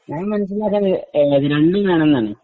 ഞാൻ മനസിലാക്കിയത് രണ്ടും വേണമെന്നാണ്